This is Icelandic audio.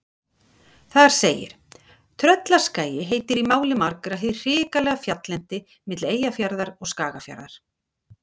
Þar segir: Tröllaskagi heitir í máli margra hið hrikalega fjalllendi milli Eyjafjarðar og Skagafjarðar.